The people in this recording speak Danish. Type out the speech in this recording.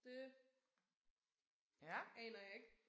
Det aner jeg ikke